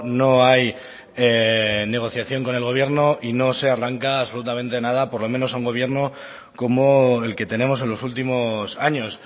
no hay negociación con el gobierno y no se arranca absolutamente nada por lo menos a un gobierno como el que tenemos en los últimos años